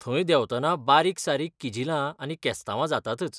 थंय देंवतना बारीकसारीक किजिलां आनी केस्तांवां जातातच.